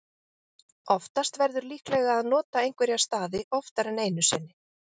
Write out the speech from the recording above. oftast verður líklega að nota einhverja stafi oftar en einu sinni